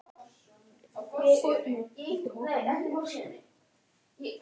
Einföldustu atriði verða mjög flókin og krefjast margra lýsingarorða.